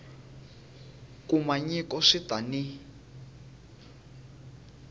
kuma nyiko swi ta n